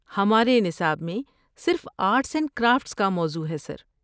ہمارے نصاب میں صرف آرٹس اینڈ کرافٹس کا موضوع ہے، سر۔